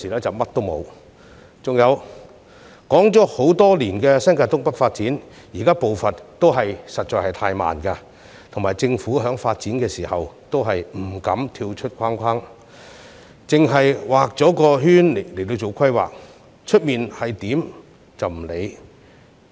至於談論多年的新界東北發展，現時的步伐仍屬太慢，政府在發展時不敢逾越既定範圍，只會在其內作出規劃，完全不理會外圍情況。